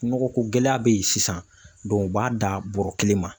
Nɔgɔkogɛlɛya bɛ yen sisan u b'a da bɔrɛ kelen ma